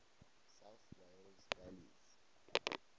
south wales valleys